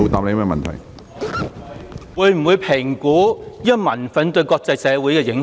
他會否評估民憤對國際社會的影響？